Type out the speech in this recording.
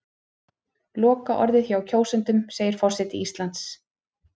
Lokaorðið hjá kjósendum segir forseti Íslands